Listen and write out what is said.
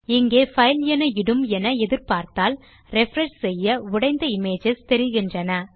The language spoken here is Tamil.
இங்கே பைல் என இடும் என எதிர்பார்த்தால் ரிஃப்ரெஷ் செய்ய உடைந்த இமேஜஸ் தெரிகின்றன